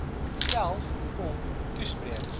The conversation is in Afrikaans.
self kom toespreek